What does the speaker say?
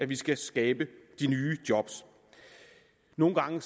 vi skal skabe de nye job nogle gange